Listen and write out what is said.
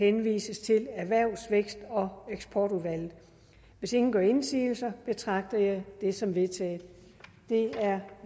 henvises til erhvervs vækst og eksportudvalget hvis ingen gør indsigelse betragter jeg det som vedtaget det er